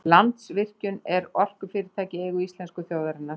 Landsvirkjun er orkufyrirtæki í eigu íslensku þjóðarinnar.